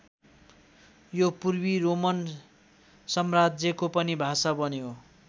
यो पूर्वी रोमन साम्राज्यको पनि भाषा बन्यो।